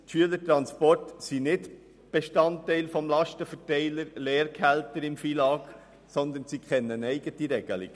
Erstens sind die Schülertransporte nicht Bestandteil des Lastenteilers der Lehrergehälter im FILAG, sondern diese kennen eine eigene Regelung.